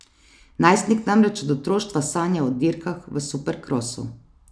Najstnik namreč od otroštva sanja o dirkah v superkrosu.